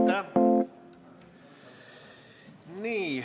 Aitäh!